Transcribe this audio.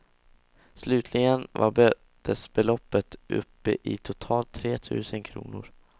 Slutligen var bötesbeloppet uppe i totalt tre tusen kronor.